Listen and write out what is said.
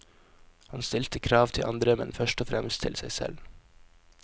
Han stilte krav til andre, men først og fremst til seg selv.